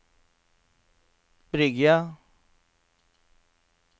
Bryggja